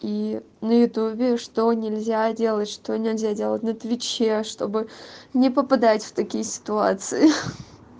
и на ютюбе что нельзя делать что нельзя делать на твиче чтобы не попадать в такие ситуации